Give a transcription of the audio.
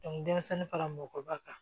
denmisɛnnin fara mɔgɔkɔrɔba kan